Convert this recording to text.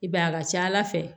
I b'a ye a ka ca ala fɛ